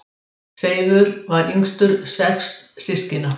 Seifur var yngstur sex systkina.